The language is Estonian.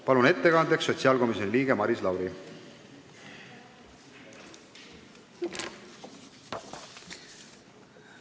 Palun ettekandeks siia sotsiaalkomisjoni liikme Maris Lauri!